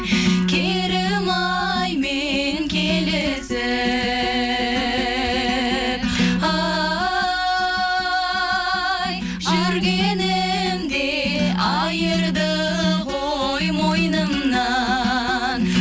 керімаймен келісіп ай жүргенімде айырды ғой мойнымнан